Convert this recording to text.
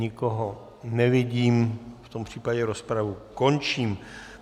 Nikoho nevidím, v tom případě rozpravu končím.